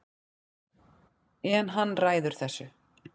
En hann ræður þessu